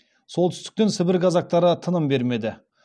солтүстіктен сібір казактары тыным бермеді